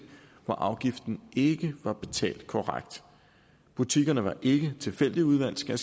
hvor afgiften ikke var betalt korrekt butikkerne var ikke tilfældigt udvalgt skal